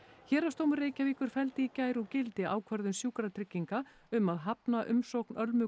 héraðsdómur Reykjavíkur felldi í gær úr gildi ákvörðun Sjúkratrygginga um að hafna umsókn Ölmu